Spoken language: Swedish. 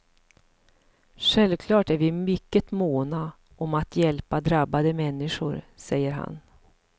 Självklart är vi mycket måna om att hjälpa drabbade människor, säger han.